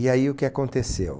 E aí o que aconteceu?